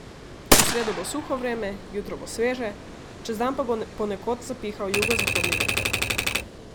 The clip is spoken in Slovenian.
V sredo bo suho vreme, jutro bo sveže, čez dan pa bo ponekod zapihal jugozahodni veter.